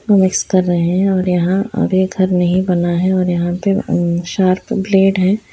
Mix कर रहे है और यहाँ ये घर नहीं बना है और यहाँ पे शार्प ब्लेड है।